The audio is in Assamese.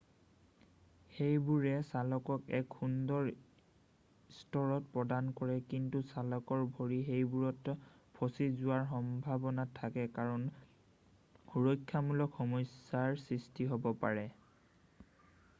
সেইবোৰে চালকক এক সুন্দৰ স্থিৰতা প্ৰদান কৰে কিন্তু চালকৰ ভৰি সেইবোৰত ফঁচি যোৱাৰ সম্ভাৱনা থাকে কাৰণে সুৰক্ষামূলক সমস্যাৰ সৃষ্টি হ'ব পাৰে